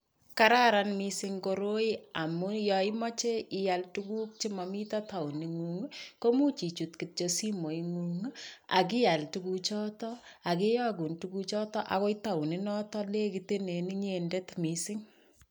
Kararan mising koroi amu yoimoche ial tuguk chemomito taoningung, komuch ichut kityo simoingung ak ial tuguchoto ak kiyogun tuguchoto ako taoninoto legitenen inyendet mising.